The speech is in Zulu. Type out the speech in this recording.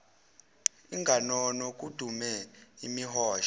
inganono kudume imihosha